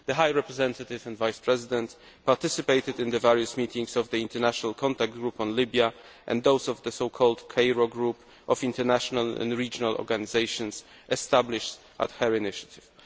The High Representative participated in the various meetings of the International Contact Group on Libya and those of the so called Cairo Group of international and regional organisations, which was established on her initiative.